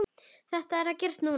Það er að gerast núna.